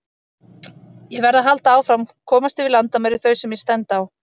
Ég verð að halda áfram, komast yfir landamæri þau sem ég stend á.